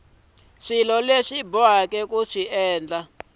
bohaka na swilaveko swa ku